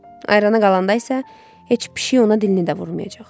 Ayrana qalanda isə heç pişik ona dilini də vurmayacaq.